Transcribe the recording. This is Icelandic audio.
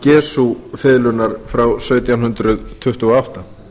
guarnerius del gesu fiðlunnar frá sautján hundruð tuttugu og átta